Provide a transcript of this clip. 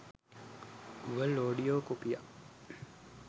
Dual audio කොපියක්.